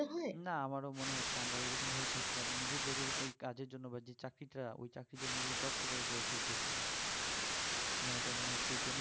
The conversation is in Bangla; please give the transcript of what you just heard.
আমারও মনে হচ্ছে আমরা ওই রকম ভাবে পড়ছি না এবং নিজের থেকে ওই কাজের জন্য বা যে চাকরিটা ওই চাকরির জন্য নিজেকে দক্ষ করে গড়ে তুলতে শিখুন আমার এটা মনে হচ্ছে এরজন্য